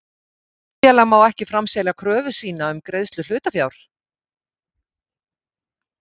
Hlutafélag má ekki framselja kröfu sína um greiðslu hlutafjár.